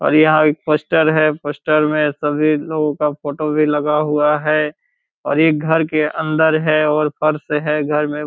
और यहाँ एक पोस्टर हैं पोस्टर में सभी लोगो का फोटो भी लगा हुआ हैं और ये घर के अन्दर हैं और फर्श हैं घर में।